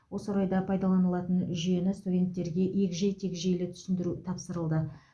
осы орайда пайдаланылатын жүйені студенттерге егжей тегжейлі түсіндіру тапсырылды